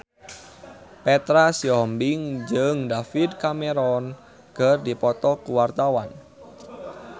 Petra Sihombing jeung David Cameron keur dipoto ku wartawan